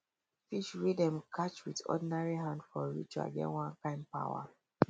fish wey dem catch with ordinary hand for ritual get one kind power